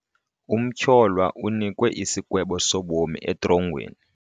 Umtyholwa unikwe isigwebo sobomi etrongweni.